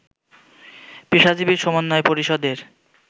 পেশাজীবী সমন্বয় পরিষদের